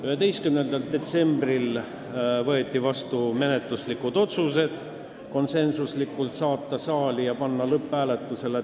11. detsembril võeti vastu menetluslikud otsused : saata eelnõu saali ja panna tänasel päeval lõpphääletusele.